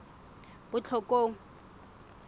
botlhokong